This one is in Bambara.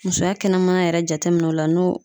Musoya kɛnɛmana yɛrɛ jateminɛ o la n'o